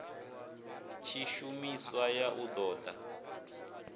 tshishumiswa ya u ṱo ḓa